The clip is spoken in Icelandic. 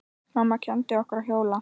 Mamma kenndi okkur að hjóla.